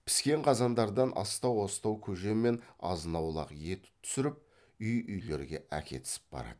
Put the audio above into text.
піскен қазандардан астау астау көже мен азнаулық ет түсіріп үй үйлерге әкетісіп барады